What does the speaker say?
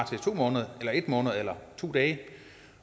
til to måneder eller en måned eller to dage